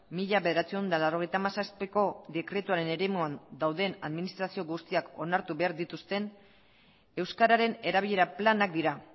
mila bederatziehun eta laurogeita hamazazpiko dekretuaren eremuan dauden administrazio guztiak onartu behar dituzten euskararen erabilera planak dira